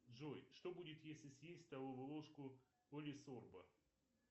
джой что будет если съесть столовую ложку полисорба